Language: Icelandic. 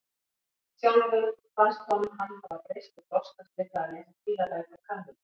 Sjálfum fannst honum hann hafa breyst og þroskast við það að lesa stílabækur Kamillu.